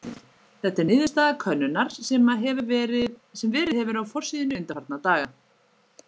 Þetta er niðurstaða könnunar sem verið hefur á forsíðunni undanfarna daga.